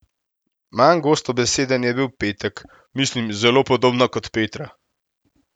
Manj gostobeseden je bil Petek: 'Mislim zelo podobno kot Petra.